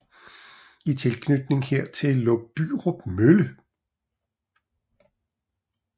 I tilknytning hertil lå Bryrup mølle